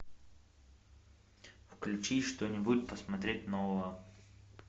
включи что нибудь посмотреть нового